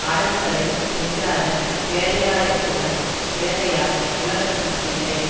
அடங்குதலைச் செய்யாத பேதையாரைபோலப் பேதையார் உலகத்தில் இல்லை